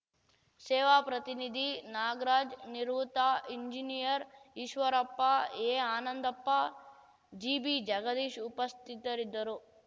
ಸೇವಾ ಪ್ರತಿನಿಧಿ ನಾಗ್ರಾಜ್‌ ನಿವೃತ್ತ ಎಂಜಿನಿಯರ್‌ ಈಶ್ವರಪ್ಪ ಎಆನಂದಪ್ಪ ಜಿಬಿಜಗದೀಶ್‌ ಉಪಸ್ಥಿತರಿದ್ದರು